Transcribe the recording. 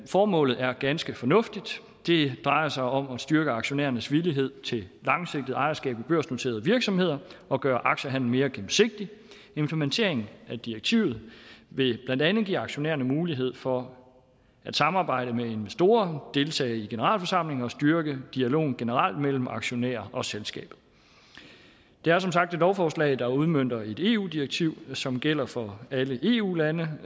formålet er ganske fornuftigt det drejer sig om at styrke aktionærernes villighed til langsigtet ejerskab i børsnoterede virksomheder og gøre aktiehandelen mere gennemsigtig implementeringen af direktivet vil blandt andet give aktionærerne mulighed for at samarbejde med investorer deltage i generalforsamlinger og styrke dialogen generelt mellem aktionærer og selskabet det er som sagt et lovforslag der udmønter et eu direktiv som gælder for alle eu lande